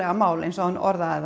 mál eins og hann orðaði það